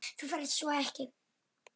Þú færð sko ekki.